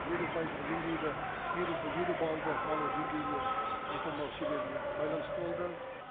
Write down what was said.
елу пайыздық деңгейді елу елу баллды алу деңгейіне жете алмау себебіне байланысты болды